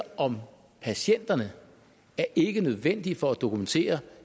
om patienterne ikke er nødvendige for at dokumentere